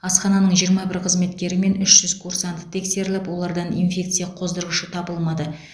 асхананың жиырма бір қызметкері мен үш жүз курсант тексеріліп олардан инфекция қоздырғышы табылмады